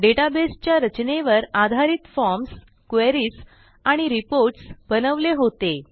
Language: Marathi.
डेटाबेसच्या रचनेवर आधारित फॉर्म्स क्वेरीज आणि रिपोर्ट्स बनवले होते